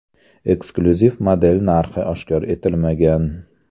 Eksklyuziv model narxi oshkor etilmagan.